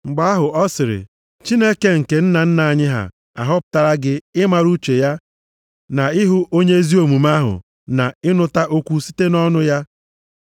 “Mgbe ahụ, ọ sịrị, ‘Chineke nke nna nna anyị ha ahọpụtala gị ịmara uche ya na ịhụ Onye Ezi Omume ahụ na ịnụta okwu site nʼọnụ ya.